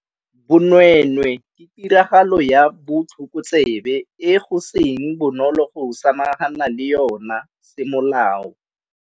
Bonweenwee ke tiragalo ya botlhokotsebe e go seng bonolo go samagana le yona semolao.